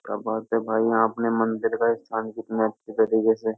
क्या बात है भाई? यहाँ अपने मंदिर में कितने अच्छे तरीके से --